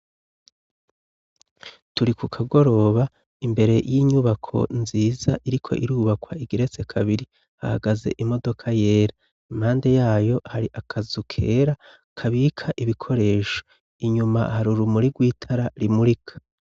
Turi ku kagoroba imbere y'inyubako nziza iriko irubakwa igeretse kabiri hahagaze imodoka yera impande yayo hari akazu kera kabika ibikoresho inyuma hari urumuri rw'itara rimurika.